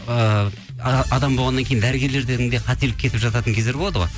ыыы адам болғаннан кейін дәрігерлерден де қателік кетіп жататын кездер болады ғой